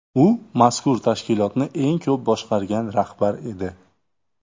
U mazkur tashkilotni eng ko‘p boshqargan rahbar edi.